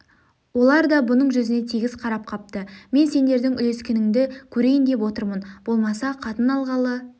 олар да бұның жүзіне тегіс қарап қапты мен сендердің үлескенінді көрейін деп отырмын болмаса қатын алғалы